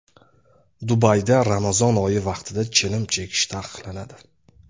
Dubayda Ramazon oyi vaqtida chilim chekish taqiqlanadi.